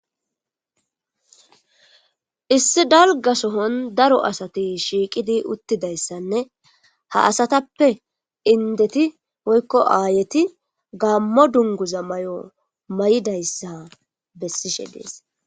issi dalgasohon daro asati shiiqidi uttidayssanne ha asatappe indeti woykko aayeti gammo dunguza may7o may7idayssa bessishe dees